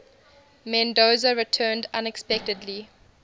mendoza returned unexpectedly